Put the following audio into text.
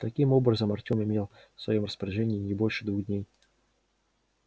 таким образом артем имел в своём распоряжении не больше двух дней